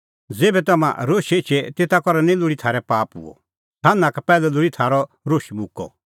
ज़ेभै तम्हां रोशै एछे तेता करै निं लोल़ी थारै पाप हुअ सान्हां का पैहलै लोल़ी थारअ रोश मुक्कअ